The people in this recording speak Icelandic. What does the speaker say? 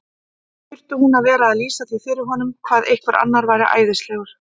Þurfti hún að vera að lýsa því fyrir honum hvað einhver annar væri æðislegur?